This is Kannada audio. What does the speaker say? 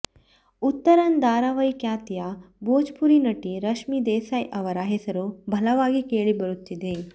ಉತ್ತರನ್ ಧಾರಾವಾಹಿ ಖ್ಯಾತಿಯ ಭೋಜ್ ಪುರಿ ನಟಿ ರಶ್ಮಿ ದೇಸಾಯಿ ಅವರ ಹೆಸರು ಬಲವಾಗಿ ಕೇಳಿ ಬರುತ್ತಿದೆ